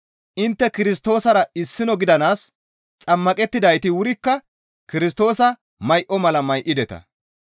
Intte Kirstoosara issino gidanaas xammaqettidayti wurikka Kirstoosa may7o mala may7ideta.